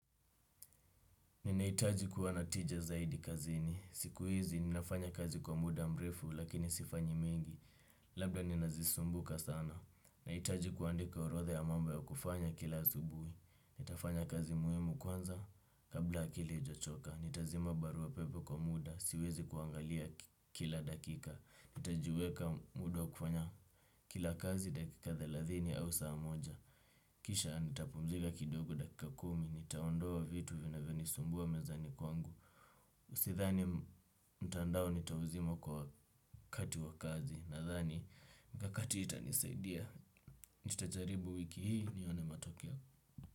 Ninahitaji kuwa na tija zaidi kazini. Siku hizi ninafanya kazi kwa muda mrefu lakini sifanyi mengi. Labda ninazisumbuka sana. Nahitaji kuandika orotha ya mambo ya kufanya kila asubuhi. Nitafanya kazi muhimu kwanza kabla akili haijachoka. Nitazima barua pepe kwa muda. Siwezi kuangalia kila dakika. Nitajiweka muda kufanya kila kazi dakika thelathini au saa moja. Kisha nitapumzika kidogo dakika kumi, nitaondoa vitu vinavyo ni sumbua mezani kwangu. Usithani mtandao nitawuzimo kwa kati wa kazi. Nathani mkakati itanisaidia. Nitajaribu wiki hii nione matokeo.